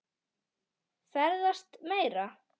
Ferðast meira.